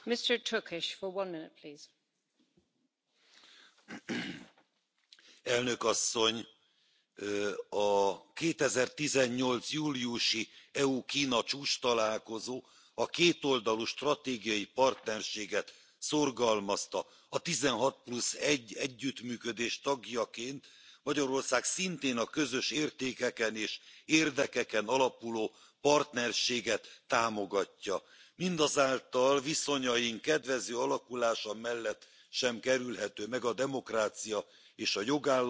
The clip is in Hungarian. Elnök Asszony! A 2018 júliusi EU Kína csúcstalálkozó a kétoldalú stratégiai partnerséget szorgalmazta. A tizenhat plusz egy együttműködés tagjaként Magyarország szintén a közös értékeken és érdekeken alapuló partnerséget támogatja. Mindazáltal viszonyaink kedvező alakulása mellett sem kerülhető meg a demokrácia és a jogállamiság, a politikai és az emberi jogok biztosításának kérdése.